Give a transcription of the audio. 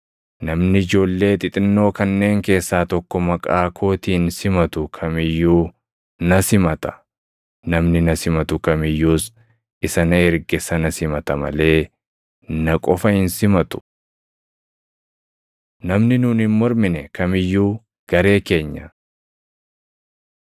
“Namni ijoollee xixinnoo kanneen keessaa tokko maqaa kootiin simatu kam iyyuu na simata; namni na simatu kam iyyuus isa na erge sana simata malee na qofa hin simatu.” Namni Nuun Hin Mormine Kam iyyuu Garee keenya 9:38‑40 kwf – Luq 9:49,50